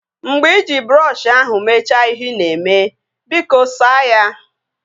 Mgbe iji brọọshi ahụ mechaa ihe ị na-eme, biko saa ya